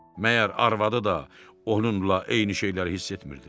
Məyər arvadı da onunla eyni şeyləri hiss etmirdi?